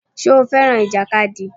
Ṣé o fẹ́ràn ìjàkadì?